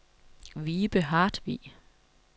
Vibe Hartvig